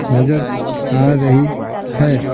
नजर आ रही है।